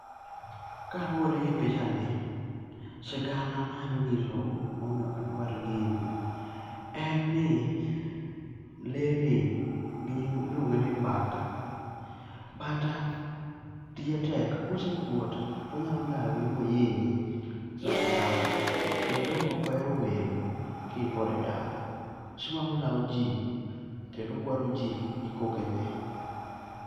kaluwore gi pichani sigana manyalo nyisou momiyo ok adwar gini en ni le ni gi nying' iluonge ni mbata, mbata tije tek kosekuot to onyalo lawi mohinyi sawasawa kendo ok ohero welo ka in kode e dala, osiko mana kolwao ji kendo ogwaro ji gi koke ne.